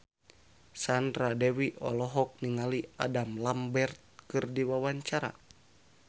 Sandra Dewi olohok ningali Adam Lambert keur diwawancara